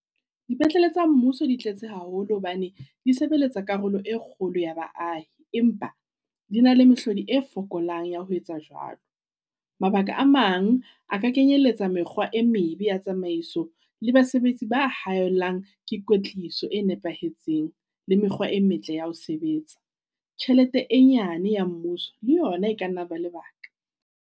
Dipetlele tsa mmuso di tletse haholo hobane di sebeletsa karolo e kgolo ya baahi. Empa di na le mehlodi e fokolang ya ho etsa jwalo. Mabaka a mang a ka kenyeletsa mekgwa e mebe ya tsamaiso, le basebetsi ba haellang ke kwetliso e nepahetseng, le mekgwa e metle ya ho sebetsa. Tjhelete e nyane ya mmuso le yona e kanna ya eba lebaka.